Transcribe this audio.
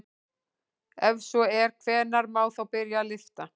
Ef svo er hvenær má þá byrja að lyfta?